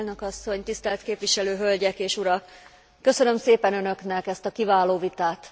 Elnök asszony, tisztelt képviselő hölgyek és urak! Köszönöm szépen Önöknek ezt a kiváló vitát.